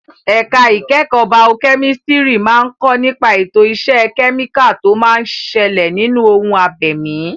Ẹ̀ka ìkẹ́kọ̀ọ́ baokẹ́mísítírì máa ń kọ́ nípa ètò ìṣe kẹ́míkà tó máa ń ṣẹlẹ̀ nínú ohun abẹ̀mí.